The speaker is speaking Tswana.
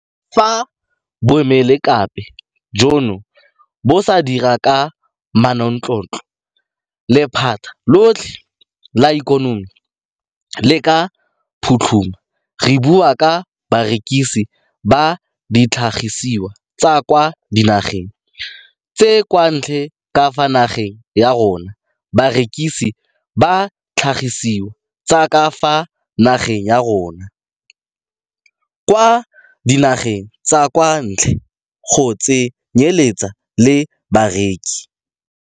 Fa boemelakepe jono bo sa dire ka manontlhotlho, lephata lotlhe la ikonomi le ka phutlhama, re bua ka barekisi ba ditlhagisiwa tsa kwa dinageng tsa kwa ntle ka fa nageng ya rona, barekisi ba ditlhagisiwa tsa ka fa nageng ya rona kwa dinageng tsa kwa ntle go tse nyeletsa le bareki.